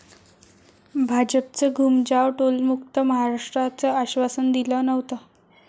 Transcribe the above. भाजपचं घूमजाव, टोलमुक्त महाराष्ट्राचं आश्वासन दिलं नव्हतं!